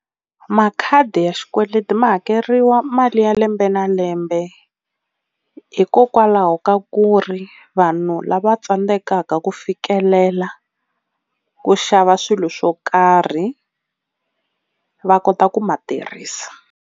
Makhadi ya xikweleti ma hakeriwa mali ya lembe na lembe hikokwalaho ka ku ri vanhu lava tsandzekaka ku fikelela ku xava swilo swo karhi va kota ku ma tirhisa.